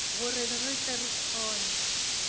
gore re tle re kgone